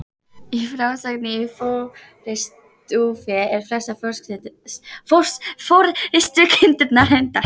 Í frásögnum í Forystufé eru flestar forystukindurnar hyrndar.